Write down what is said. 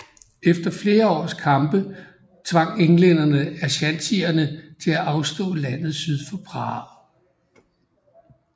Efter flere års kampe tvang englænderne aschantierne til at afstå landet syd for Prah